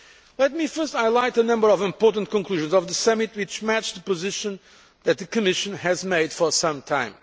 Let me first highlight a number of important conclusions of the summit which match the position that the Commission has taken for some time.